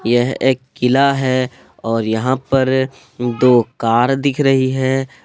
यह एक किला है और यहां पर दो कार दिख रही है।